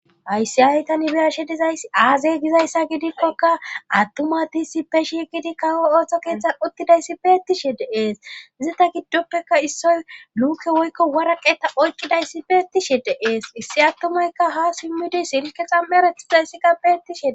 hayssi ha7i tani beyashe dizayssi aazee gizayssa gidikkoka attuma asti issippe shiqqidi kawo ootho keeththan uttidayssi beettishe de7ees izeta giddoppeka issoy luuke woykko waraqeta oykkidayssi beettishe de7ees issi attumayka ha simmidi silkke xammeretizayssika beettishe de7ees